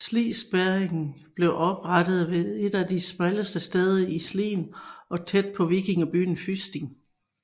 Slispærringen blev oprettet ved et af de smalleste steder i Slien og tæt ved vikingebyen Fysning